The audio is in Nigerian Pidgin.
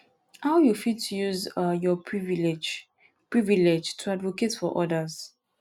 how you fit use um your privilege privilege to advocate for odas